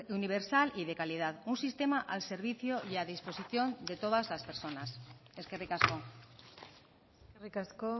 universal y de calidad un sistema al servicio y a disposición de todas las personas eskerrik asko eskerrik asko